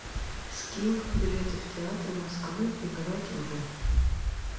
скилл билеты в театры москвы играть в